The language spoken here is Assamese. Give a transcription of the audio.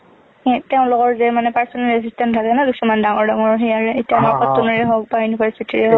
তেওঁলোকৰ যে মানে personal assistant থাকে না কিছুমান ডাঙৰ ডাঙৰ, সেইয়াৱে । এতিয়া আমাৰ cotton নৰে হওঁক বা university ৰে হওঁক